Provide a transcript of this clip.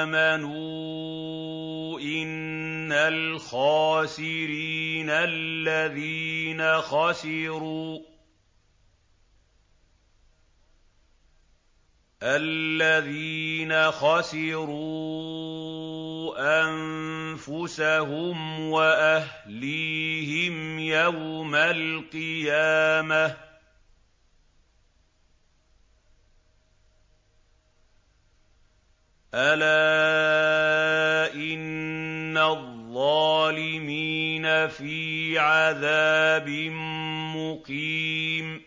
آمَنُوا إِنَّ الْخَاسِرِينَ الَّذِينَ خَسِرُوا أَنفُسَهُمْ وَأَهْلِيهِمْ يَوْمَ الْقِيَامَةِ ۗ أَلَا إِنَّ الظَّالِمِينَ فِي عَذَابٍ مُّقِيمٍ